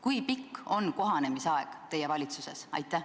Kui pikk on kohanemisaeg teie valitsuses?